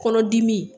Kɔnɔdimi